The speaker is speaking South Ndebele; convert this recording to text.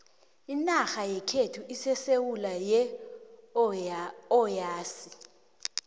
inarha yekhethu isesewu yeohasi